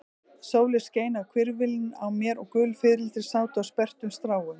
Sólin skein á hvirfilinn á mér og gul fiðrildi sátu á sperrtum stráum.